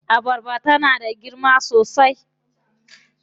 Abarbar tana da girma sosai.